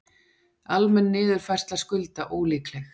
Almenn niðurfærsla skulda ólíkleg